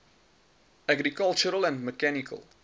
agricultural and mechanical